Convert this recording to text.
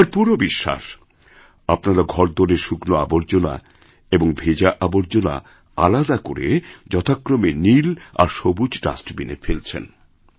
আমার পুরো বিশ্বাস আপনারা ঘরদোরের শুকনো আবর্জনা এবং ভেজা আবর্জনা আলাদা করেযথাক্রমে নীল আর সবুজ ডাস্টবিনে ফেলছেন